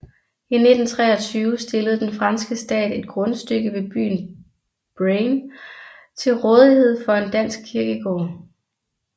I 1923 stillede den franske stat et grundstykke ved byen Braine til rådighed for en dansk kirkegård